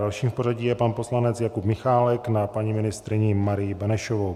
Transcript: Dalším v pořadí je pan poslanec Jakub Michálek na paní ministryni Marii Benešovou.